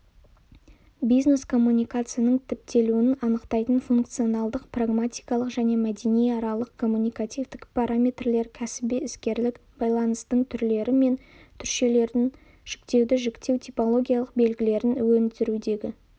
бизнес-коммуникацияның типтелуін анықтайтын функционалдық-прагматикалық және мәдениаралық-коммуникативтік параметрлер кәсіби-іскерлік байланыстың түрлері мен түршелерін жіктеудің жіктеу-типологиялық белгілерін өндірудегі